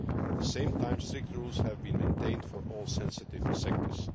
At the same time, strict rules have been maintained for all sensitive sectors.